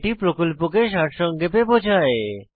এটি প্রকল্পকে সারসংক্ষেপে বোঝায়